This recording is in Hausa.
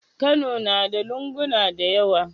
Kano nada lunguna dayawa